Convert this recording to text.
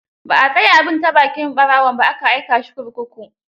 Ba a tsaya bin ta bakin ɓarawaon ba, aka aika shi kurkuku.